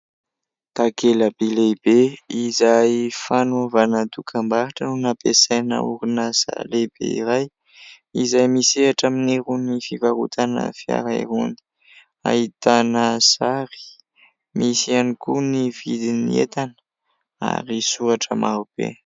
Takelaka lehibe izay fanaovana dokam-barotra no nampiasaina orinasa lehibe iray izay misehatra amin'ny irony fivarotana fiara irony ahitana sary. Misy ihany koa ny vidin'ny entana ary soratra maro be.